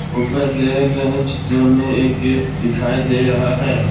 ऊपर दिए गए चित्र में एक गेट दिखाई दे रहा है।